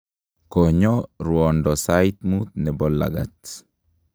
konyo ruondo sait mut nebo lagat